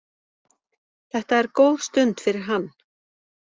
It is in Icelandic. Þetta er góð stund fyrir hann.